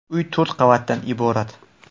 Uy to‘rt qavatdan iborat.